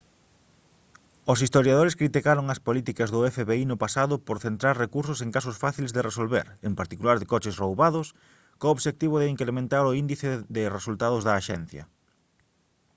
os historiadores criticaron as políticas do fbi no pasado por centrar recursos en casos fáciles de resolver en particular de coches roubados co obxectivo de incrementar o índice de resultados da axencia